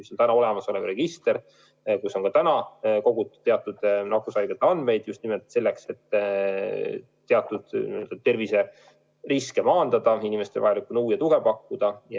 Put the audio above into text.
See on juba olemas olev register, kuhu on kogutud teatud andmeid just nimelt selleks, et teatud terviseriske maandada, inimestele vajalikku nõu ja tuge pakkuda.